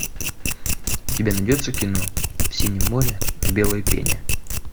у тебя найдется кино в синем море в белой пене